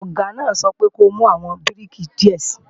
Ọ̀gá náà sọ wípé ko mú àwọn bíríkì díẹ̀ sii!